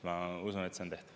Ma usun, et see on tehtav.